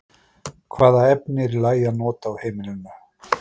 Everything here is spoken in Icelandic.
Hvaða efni er í lagi að nota á heimilinu?